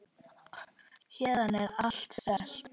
Héðan er allt selt.